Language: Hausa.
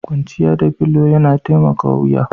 Kwanciya da filo yana taimakawa wuya.